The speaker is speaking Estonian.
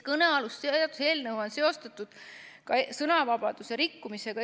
Kõnealust seaduseelnõu on seostatud ka sõnavabaduse rikkumisega.